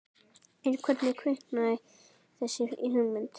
En hvernig kviknaði þessi hugmynd?